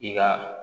I ka